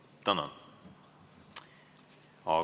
Tänan!